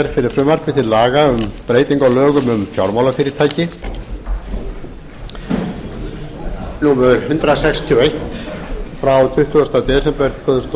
hér fyrir frumvarpi til laga um breytingu á lögum um fjármálafyrirtæki númer hundrað sextíu og eitt frá tuttugasta desember tvö þúsund og